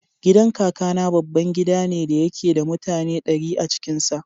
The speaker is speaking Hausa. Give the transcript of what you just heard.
Gidan Kakana babban gida ne da yake da mutane ɗari a cikin sa.